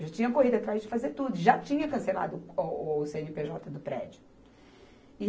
Eu já tinha corrido atrás de fazer tudo, já tinha cancelado o co, o cê ene pê jota do prédio. E